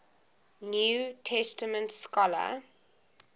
new testament scholar